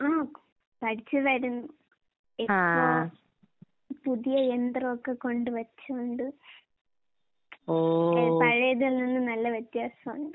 ആഹ് പഠിച്ച് വരുന്നു. ഇപ്പോ പുതിയ യന്ത്രോക്കെ കൊണ്ട് വെച്ചോണ്ട് കെ പഴേതിൽ നിന്ന് നല്ല വ്യത്യാസോണ്ട്.